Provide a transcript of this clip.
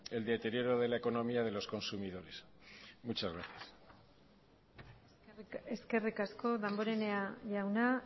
el deterioro de la economía de los consumidores muchas gracias eskerrik asko damborenea jauna